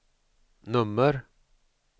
nummer